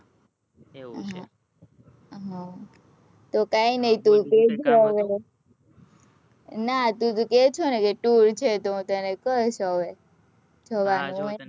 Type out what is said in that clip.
એવું છે હ તો કાઈ ની ના તું કે છે ને